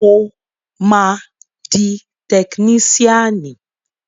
Mo máa di tekiníṣíànì